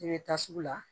I bɛ taa sugu la